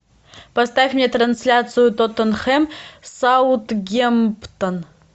поставь мне трансляцию тоттенхэм с саутгемптон